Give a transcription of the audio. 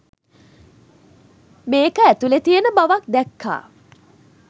මේක ඇතුළෙ තියෙන බවක් දැක්කා.